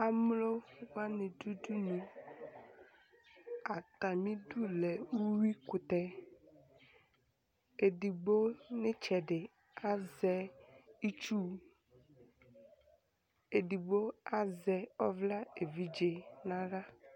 amlowani dʋ udunu atamidʋ lɛ uwuikʋtɛ edigbo nitsɛdi azɛ itsʋʋ edigbo azɛ ɔvla evidze naha